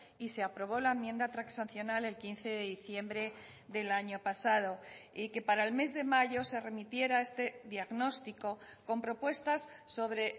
y se aprobó la enmienda transaccional el quince de diciembre del año pasado y que para el mes de mayo se remitiera este diagnóstico con propuestas sobre